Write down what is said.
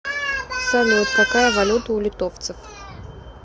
салют какая валюта у литовцев